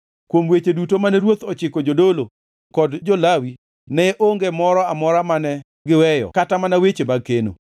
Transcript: Kuom weche duto mane ruoth ochiko jodolo kod jo-Lawi ne onge moro amora mane giweyo kata mana weche mag keno.